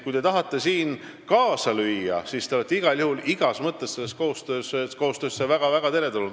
Kui te tahate siin kaasa lüüa, siis te olete igal juhul igas mõttes väga teretulnud.